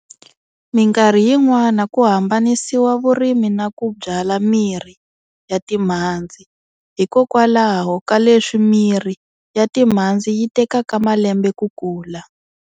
Minkarhi yin'wana kuhambanisiwa vurimi na ku byala mirhi ya timhadzi, hikwalaho ka leswi mirhi yatimhadzi yitekaka malembe ku kula.